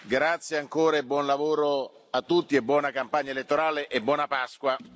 Grazie ancora e buon lavoro a tutti e buona campagna elettorale e buona Pasqua.